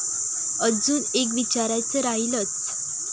अजुन एक विचारायच राहिलच.